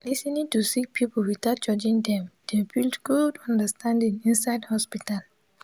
lis ten ing to sick pipul witout judging dem dey build gud understanding inside hosptital